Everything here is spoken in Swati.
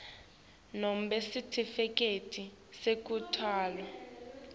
nobe sitifiketi sekutalwa